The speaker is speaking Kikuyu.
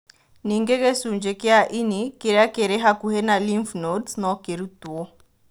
Ningĩ gĩcunjĩ kĩa ĩni kĩrĩa kĩrĩ hakuhĩ na lymph nodes no kĩrutwo.